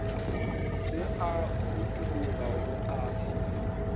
se a utologa go a